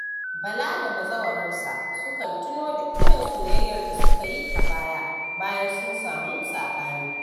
Bala da bazawararsa sukan tuno da irin soyayyar da suka yi a baya, bayan sun samu saɓani.